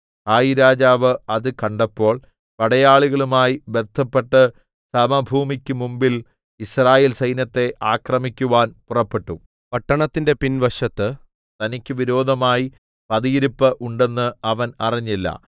ഹായിരാജാവ് അത് കണ്ടപ്പോൾ പടയാളികളുമായി ബദ്ധപ്പെട്ട് സമഭൂമിക്കു മുമ്പിൽ യിസ്രായേൽ സൈന്യത്തെ ആക്രമിക്കാൻ പുറപ്പെട്ടു പട്ടണത്തിന്റെ പിൻവശത്ത് തനിക്കു വിരോധമായി പതിയിരിപ്പ് ഉണ്ടെന്ന് അവൻ അറിഞ്ഞില്ല